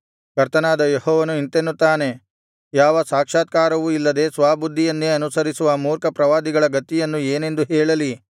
ಕರ್ತನಾದ ಯೆಹೋವನು ಇಂತೆನ್ನುತ್ತಾನೆ ಯಾವ ಸಾಕ್ಷಾತ್ಕಾರವೂ ಇಲ್ಲದೆ ಸ್ವಬುದ್ಧಿಯನ್ನೇ ಅನುಸರಿಸುವ ಮೂರ್ಖ ಪ್ರವಾದಿಗಳ ಗತಿಯನ್ನು ಏನೆಂದು ಹೇಳಲಿ